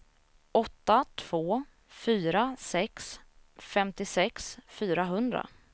åtta två fyra sex femtiosex fyrahundra